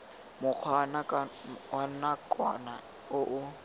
mokgwa wa nakwana o o